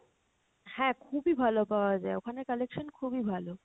হ্যাঁ খুবই ভালো পাওয়া যায়, ওখানে collection খুবিই ভালো।